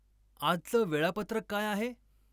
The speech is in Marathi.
आजचं वेळापत्रक काय आहे?